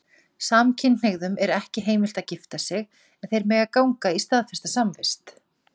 Samkynhneigðum er ekki heimilt að gifta sig, en þeir mega ganga í staðfesta samvist.